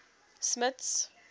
smuts